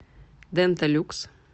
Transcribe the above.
дента люкс